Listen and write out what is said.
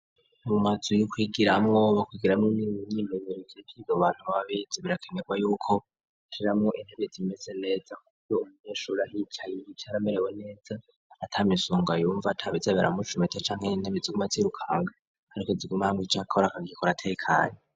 Mu mazu yo kwigiramwo bagiririmwo imyimenyerezo y'ibintu abantu baba bize birakenerwa yuko ushiramwo intebe zimeze neza ku buryo umunyeshuri ahicaye yicara amerewe neza, ata misonga yumva, ata biza biramucumita canke intebe ziguma zirukanga, intebe ziguma hamwe ico akora akagikora atekanye.